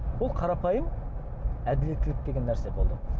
бұл қарапайым әділеттілік деген нәрсе болды